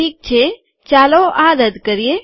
ઠીક છે ચાલો આ રદ્દ કરીએ